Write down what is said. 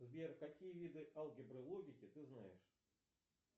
сбер какие виды алгебры логики ты знаешь